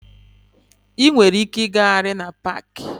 Ị nwere ike ịgagharị na paaki.